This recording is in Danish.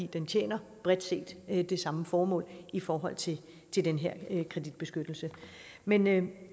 den tjener bredt set det samme formål i forhold til til den her kreditbeskyttelse men jeg